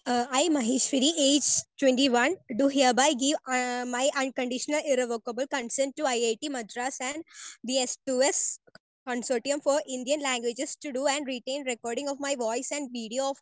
speaker 1 I, Maheshwari age 21 do hereby give my unconditional irrevocable consent to IIT Madras and the S two S consortium for Indian languages to do and written recording of my voice and video